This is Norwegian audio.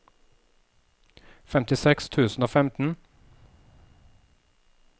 femtiseks tusen og femten